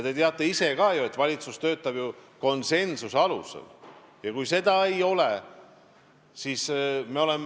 Te teate ise ka, et valitsus töötab konsensuse alusel.